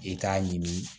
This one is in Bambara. I k'a ɲini